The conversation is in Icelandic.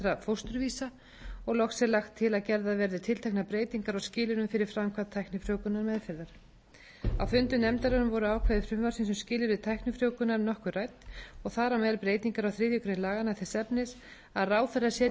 er lagt til að gerðar verði tilteknar breytingar á skilyrðum fyrir framkvæmd tæknifrjóvgunarmeðferðar á fundum nefndarinnar voru ákvæði frumvarpsins um skilyrði tæknifrjóvgunar nokkuð rædd og þar á meðal breytingar á þriðju grein laganna þess efnis að ráðherra setji